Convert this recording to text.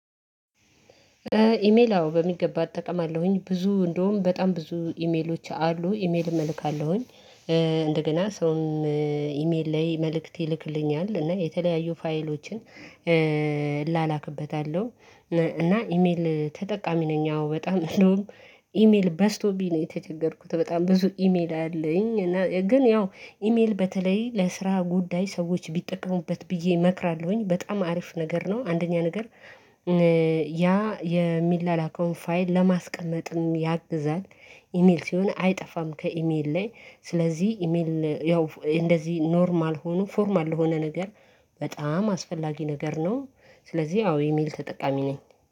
ኢሜል አዎ በሚገባ አጠቀማለሁኝ። ብዙ እንደውም በጣም ብዙ ኢሜሎች አሉ ኢሜልም እልካለሁኝ። እንደገና ሰውን ኢሜል ላይ መልእክት ይልክልኛል እና የተለያዩ ፋይሎችን እላላክበታለሁ። እና ኢሜል ተጠቃሚ ነኝ አዎ በጣም እንደውም ኢሜል በስቶቢኝ ነው የተቸገርኩት በጣም ብዙ ኢሜል አለኝ። እና ግን ያው ኢሜል በተለይ ለስራ ጉዳይ ሰዎች ቢጠቀሙበት ብዬ እመክራለሁኝ በጣም አሪፍ ነገር ነው። አንደኛ ነገር ያ የሚላላካውን ፋይል ለማስቀመጥም ያግዛል። ኢሜል ሲሆን አይጠፋም ከኢሜል ላይ ስለዚህ ኢሜል ያው እንደዚህ ኖርማል ሆኖ ፎርማል የሆነ ነገር በጣም አስፈላጊ ነገር ነው። ስለዚህ አዎ እሜል ተጠቃሚ ነኝ።